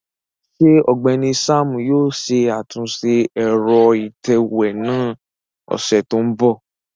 Ṣe Ọgbẹni Sam yóò ṣe atunṣe ẹrọ itẹwe náa ni ọsẹ to nbọ?